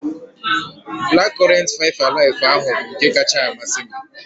Black current five alive ahụ bụ nke kacha amasị m